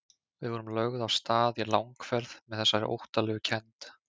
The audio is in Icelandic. Við vorum lögð af stað í langferð með þessari óttalegu kennd.